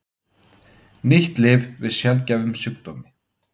Ný lyf við sjaldgæfum sjúkdómi